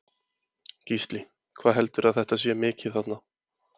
Gísli: Hvað heldurðu að þetta sé mikið þarna?